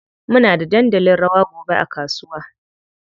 Muna da dandalin rawa gobe a kasuwa.